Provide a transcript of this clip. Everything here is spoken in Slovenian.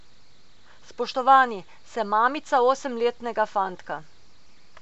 Spoštovani, sem mamica osemletnega fantka.